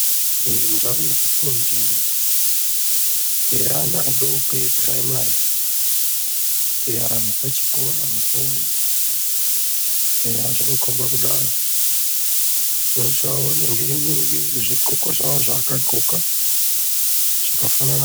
Ndau yekufundira yevana vadoko vekupiraimari yepachikorapo eya zvinkomba kudaro vanenge vane zvigonko zvawo zvavakapfeka zvakafana.